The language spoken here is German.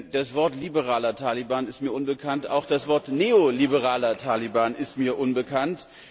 Das Wort liberaler Taliban ist mir unbekannt, auch das Wort neoliberaler Taliban ist mir unbekannt.